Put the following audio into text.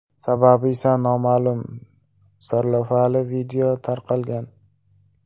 Sababi esa noma’lum” sarlavhali video tarqalgan.